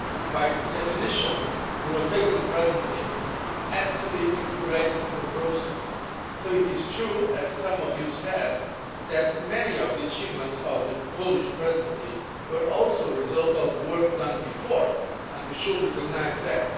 By definition, a rotating presidency has to be integrated into that process, so it is true as some of you said that many of the achievements of the Polish Presidency were also the result of work done before, and we should recognise that.